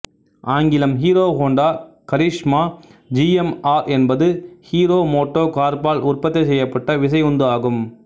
ஆங்கிலம் Hero Honda Karizma Z M R என்பது Hero Moto கார்ப்பால் உற்பத்தி செய்யப்பட்ட விசையுந்து ஆகும்